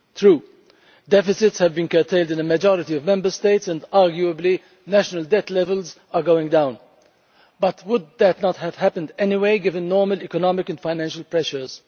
True, deficits have been curtailed in a majority of Member States and, arguably, national debt levels are going down but would that not have happened anyway, given normal economic and financial pressures?